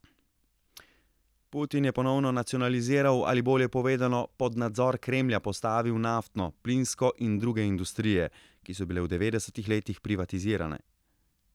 Putin je ponovno nacionaliziral, ali bolje povedano, pod nadzor Kremlja postavil naftno, plinsko in druge industrije, ki so bile v devetdesetih letih privatizirane.